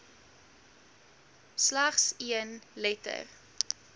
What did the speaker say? slegs een letter